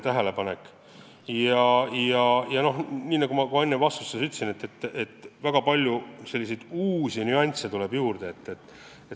Ja nagu ma ka enne küsimustele vastates ütlesin, väga palju uusi nüansse tuleb juurde.